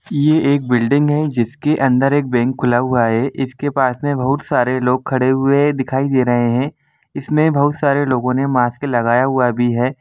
ये एक बिल्डिंग हैं जिस के अंदर एक बैंक खुला हुआ हैं इस के पास बहुत सारे लोग खड़े हुए हैं दिखाई दे रहे हैं इस मे बहुत सारे लोगों ने मास्क लगा हुआ हैं ।